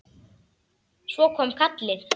Svo kom kallið.